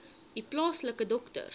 u plaaslike dokter